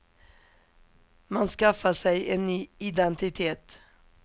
Man skaffar sig en ny identitet.